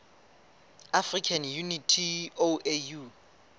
african unity oau